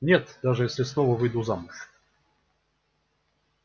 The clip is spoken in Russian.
нет даже если снова выйду замуж